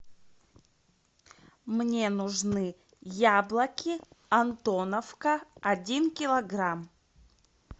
мне нужны яблоки антоновка один килограмм